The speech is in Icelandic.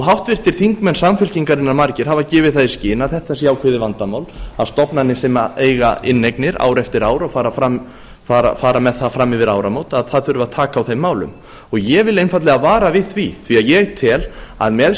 háttvirtir þingmenn samfylkingarinnar margir hafa gefið það í skyn að þetta sé ákveðið vandamál að stofnanir sem eiga inneignir ár eftir ár og fara með það fram yfir áramót að það þurfi að taka á þeim málum ég vil einfaldlega vara við því ég tel að með